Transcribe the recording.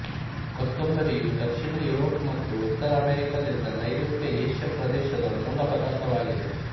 ಕೊತ್ತುಂಬರಿಯು ದಕ್ಷಿಣ ಯುರೋಪ್ ಮತ್ತು ಉತ್ತರ ಅಮೇರಿಕದಿಂದ ನೈರುತ್ಯ ಏಷ್ಯಾ ಪ್ರದೇಶದ ಮೂಲ ಪದಾರ್ಥವಾಗಿದೆ